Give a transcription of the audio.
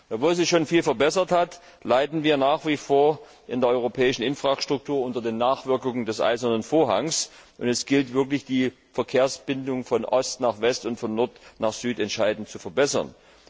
Obwohl sich schon viel verbessert hat, leiden wir nach wie vor bei der europäischen Infrastruktur unter den Nachwirkungen des Eisernen Vorhangs, und es gilt wirklich, die Verkehrsverbindungen von Ost nach West und von Nord nach Süd entscheidend zu verbessern.